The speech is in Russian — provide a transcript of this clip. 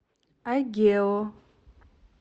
агео